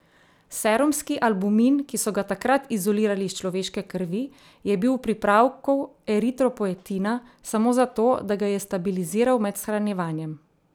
Serumski albumin, ki so ga takrat izolirali iz človeške krvi, je bil v pripravku eritropoetina samo zato, da ga je stabiliziral med shranjevanjem.